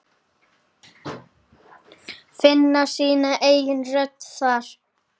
Finna sína eigin rödd þar.